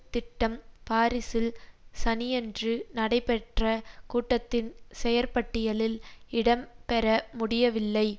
திட்டம் பாரிஸில் சனியன்று நடைபெற்ற கூட்டத்தின் செயற்பட்டியலில் இடம் பெற முடியவில்லை